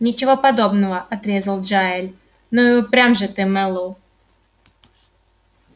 ничего подобного отрезал джаэль ну и упрям же ты мэллоу